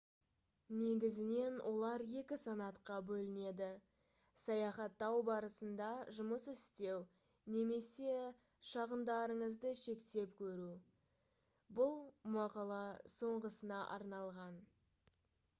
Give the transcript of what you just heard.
негізінен олар екі санатқа бөлінеді саяхаттау барысында жұмыс істеу немесе шығындарыңызды шектеп көру бұл мақала соңғысына арналған